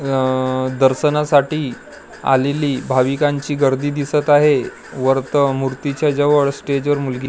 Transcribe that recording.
अ दर्शनासाठी आलेली भाविकांची गर्दी दिसत आहे वर्त मूर्तीच्या जवळ स्टेजवर मुलगी--